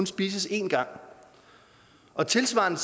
spises en gang og tilsvarende